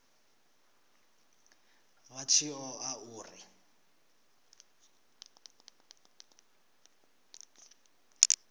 vha tshi ṱo ḓa uri